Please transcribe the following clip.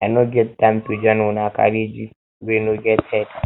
i no get time to join una carry gist wey no get head